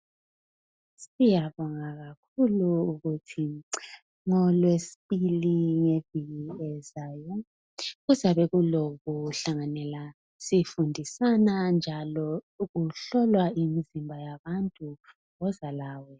Siyabonga kakhulu ukuthi ngolwesibili ngeviki ezayo kuzabe kulokuhlanganela sifundisana njalo kuhlolwa imizimba yabantu, woza lawe.